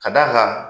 Ka d'a kan